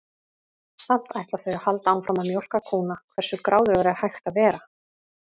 Samt ætla þau að halda áfram að mjólka kúnna, hversu gráðugur er hægt að vera?